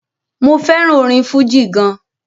mo fẹràn orin fújì gan.